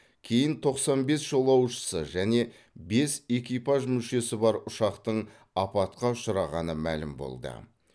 кейін тоқсан бес жолаушысы және бес экипаж мүшесі бар ұшақтың апатқа ұшырағаны мәлім болды